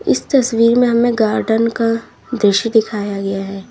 इस तस्वीर में हमें गार्डन का दृश्य दिखाया गया है।